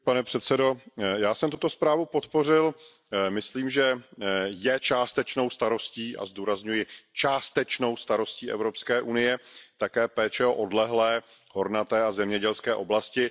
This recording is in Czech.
Pane předsedající, já jsem tuto zprávu podpořil, myslím, že je částečnou starostí a zdůrazňuji částečnou starostí Evropské unie také péče o odlehlé, hornaté a zemědělské oblasti.